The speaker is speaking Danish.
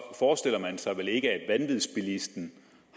forestiller man sig vel ikke at vanvidsbilisten